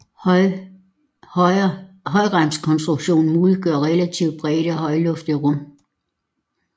Højremskonstruktionen muliggør relativt brede og højloftede rum